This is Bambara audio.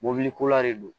Mobiliko la de do